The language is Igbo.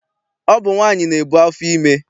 Ọ bụ nwaanyị na-ebu afọ ime.